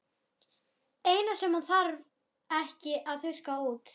Eina sem hann þarf ekki að þurrka út.